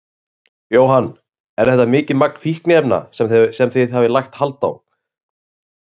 Jóhann: Er þetta mikið magn fíkniefna sem þið hafið lagt hald á?